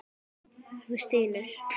Þú stynur.